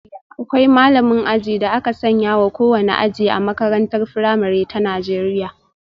Akwai malamin aji da aka sanya wa kowane aji A makarantar firamare ta Najeriya.